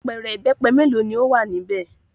Apẹ̀rẹ̀ ìbẹ́pẹ mélòó ni ó wà níbẹ̀?